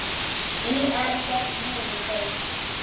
ÍR féll niður um deild.